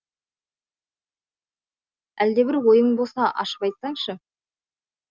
әлдебір ойың болса ашып айтсаңшы